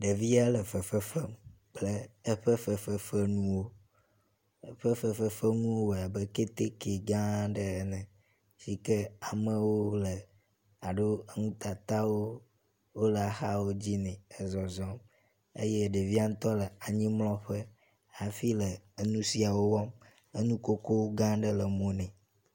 Ɖevia le fefefem kple eƒe fefefenuwo. Eƒe fefefenuwo wɔe abe keteke gã ɖe ene si ke amewo le alo nutatawo wo le axawo dzi nɛ ezɔzɔm eye ɖevia ŋtɔ le anyimlɔƒe hafi le enu siawo wɔm. enukoko gã aɖe le emo nɛ.